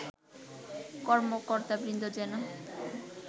কর্মকর্তাবৃন্দ যেন